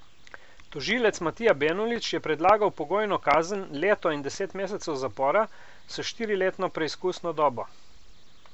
Tožilec Matija Benulič je predlagal pogojno kazen leto in deset mesecev zapora s štiriletno preizkusno dobo.